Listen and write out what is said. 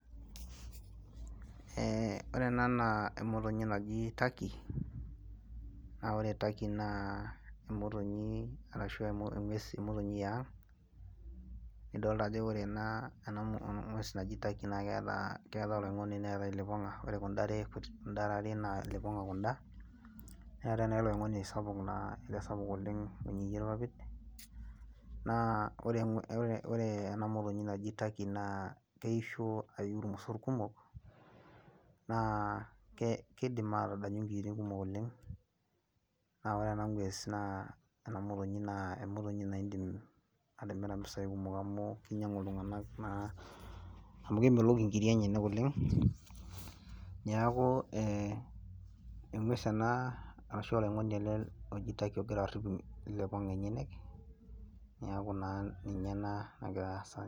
Eeeh ore ena naaa emotonyi naji turkey naa ore turkey naa emotonyi yaang nidolita ajo ore ena ng'ues naji turkey naa keetai oloing'oni neetai ilipong'a ore kunda are are naa ilipong'a kunda neetai naa eleoing'oni sapuk oleng loinyieyie irpapit naa ore ena motonyi naji turkey naa keishio ayiu irmosor kumok naa keidi aatadanyu inkiyiotin kumok oleng naa ore ena ng'ues ena motonyi naa indiim atimira impisai kumok amu keinyiang'u iltung'anak naa amu kemelok inkirik enyanak oleng niaku eng'ues ena ashuua oloing'oni oji turkey ogira arip ilipong'a enyenyek niaku naa ninye ena nagira aasa tene.